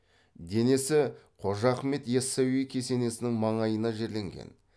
денесі қожа ахмет ясауи кесенесінің маңайына жерленген